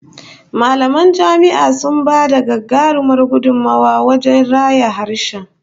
Mallaman jami'a sun ba da gagarumar gudummuwa wajen raya harshe